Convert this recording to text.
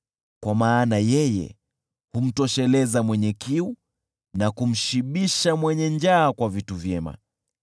kwa maana yeye humtosheleza mwenye kiu, na kumshibisha mwenye njaa kwa vitu vyema.